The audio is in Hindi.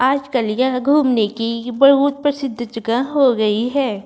आज कल यह घूमने की बहुत प्रसिद्ध जगह हो गई है।